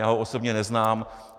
Já ho osobně neznám.